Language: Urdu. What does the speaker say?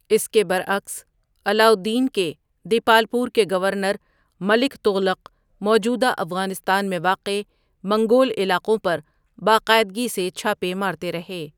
اس کے برعکس علاؤالدین کے دیپالپور کے گورنر ملک تغلق موجودہ افغانستان میں واقع منگول علاقوں پر باقاعدگی سے چھاپے مارتے رہے۔